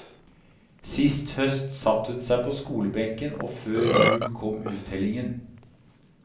Sist høst satte hun seg på skolebenken, og før jul kom uttellingen.